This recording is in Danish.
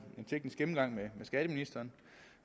teknisk gennemgang med skatteministeren